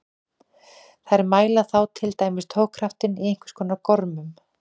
Þær mæla þá til dæmis togkraftinn í einhvers konar gormum.